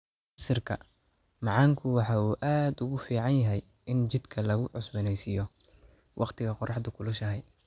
Casiirka macaanku waxa uu aad ugu fiican yahay in jidhka lagu cusboonaysiiyo wakhtiga qorraxdu kulushahay.